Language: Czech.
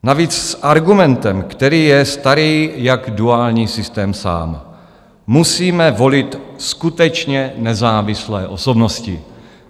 Navíc s argumentem, který je starý jak duální systém sám: musíme volit skutečně nezávislé osobnosti.